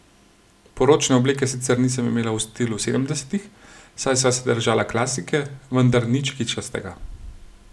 Poročne obleke sicer nisem imela v stilu sedemdesetih, saj sva se držala klasike, vendar nič kičastega.